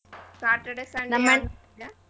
Saturday, Sunday ಯಾವ್ದ್ ನೋಡ್ತೀಯ ?